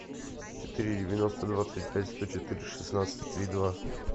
четыре девяносто двадцать пять сто четыре шестнадцать три два